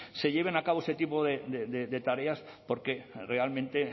se lleven a cabo ese tipo de tareas porque realmente